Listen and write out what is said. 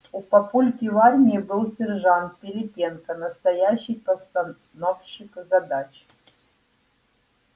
у папульки в армии был сержант пилипенко настоящий постановщик задач